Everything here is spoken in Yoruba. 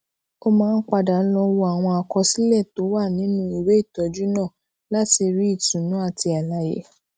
ó máa ń padà lọ wo àwọn àkọsílè tó wà nínú ìwé ìtójú náà láti rí ìtùnú àti àlàyé